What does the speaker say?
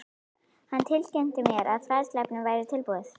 Hann tilkynnti mér, að fræðsluefnið væri tilbúið